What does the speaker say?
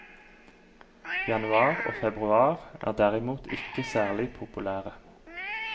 Januar og februar er derimot ikke særlig populære.